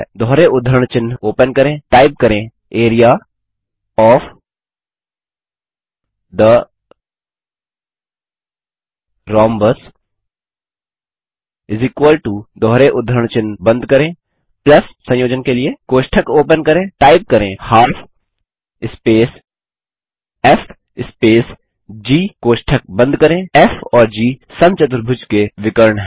दोहरे उद्धरण चिन्ह ओपन करें टाइप करें एआरईए ओएफ थे रोम्बस दोहरे उद्धरण चिन्ह बंद करें संयोजन के लिए कोष्ठक ओपन करें टाइप करें 12 स्पेस फ़ स्पेस जी कोष्ठक बंद करें फ़ और जी समचतुर्भुज के विकर्ण हैं